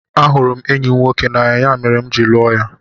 Ahụrụ m enyi m nwoke n'anya, ya mere m ji lụọ ya.